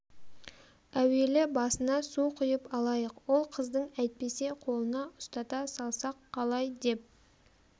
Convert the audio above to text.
әуелі басына су құйып алайық ол қыздың әйтпесе қолына ұстата салсақ қалай деп